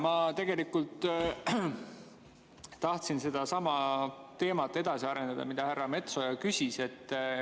Ma tegelikult tahtsin edasi arendada sedasama teemat, mille kohta härra Metsoja küsis.